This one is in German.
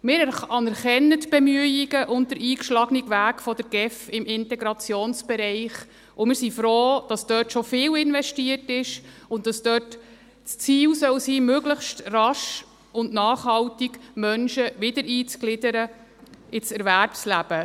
Wir anerkennen die Bemühungen und den eingeschlagenen Weg im Integrationsbereich und sind froh, dass dort schon viel investiert wurde und dass das Ziel sein soll, Menschen möglichst rasch und nachhaltig wieder ins Erwerbsleben einzugliedern.